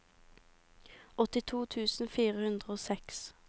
åttito tusen fire hundre og seks